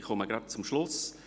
Ich komme gleich zum Schluss.